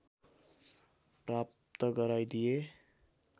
प्राप्त गराइदिए